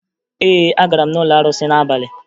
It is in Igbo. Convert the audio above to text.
Ee, agara m n'ụlọ arụsị n'abalị